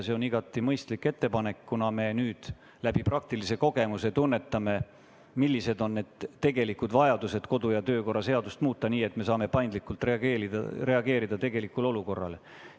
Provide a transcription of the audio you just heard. See on igati mõistlik ettepanek, kuna me nüüd läbi praktilise kogemuse tunnetame, millised on tegelikud vajadused kodu- ja töökorra seadust muuta, et saaksime paindlikult reageerida tegelikule olukorrale.